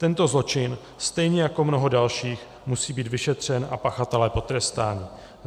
Tento zločin, stejně jako mnoho dalších, musí být vyšetřen a pachatelé potrestáni;